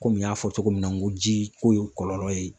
Komi n y'a fɔ cogo min na n ko jiko ye kɔlɔlɔ ye.